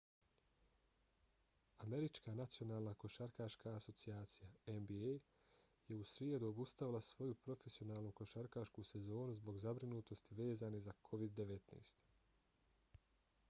američka nacionalna košarkaška asocijacija nba je u srijedu obustavila svoju profesionalnu košarkašku sezonu zbog zabrinutosti vezane za covid-19